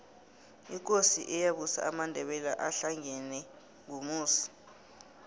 ikosi eyabusa amandebele ahlangena ngumusi